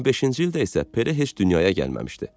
25-ci ildə isə Pele heç dünyaya gəlməmişdi.